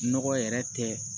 Nɔgɔ yɛrɛ tɛ